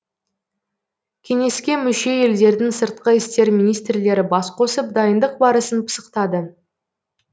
кеңеске мүше елдердің сыртқы істер министрлері бас қосып дайындық барысын пысықтады